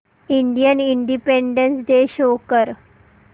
Indian Independence Day show कर